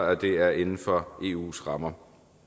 at det er inden for eus rammer